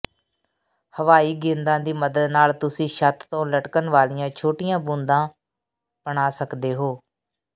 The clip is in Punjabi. ਹਵਾਈ ਗੇਂਦਾਂ ਦੀ ਮਦਦ ਨਾਲ ਤੁਸੀਂ ਛੱਤ ਤੋਂ ਲਟਕਣ ਵਾਲੀਆਂ ਛੋਟੀਆਂ ਬੂੰਦਾਂ ਬਣਾ ਸਕਦੇ ਹੋ